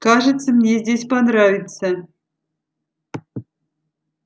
кажется мне здесь понравится